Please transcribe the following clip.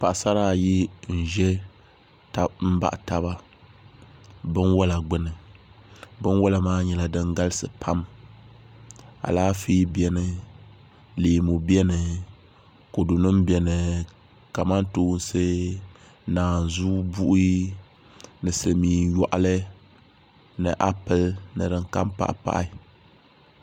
Paɣasara ayi n ʒɛ n baɣa taba binwola gbuni binwola maa nyɛla din galisi pam Alaafee biɛni leemu biɛni kodu nim biɛni kamantoosi naanzu buhi ni silmiin yoɣali ni apili ni din kam pahi pahi